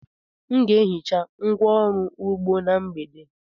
M ga-ehicha ngwá ọrụ ugbo na mgbede.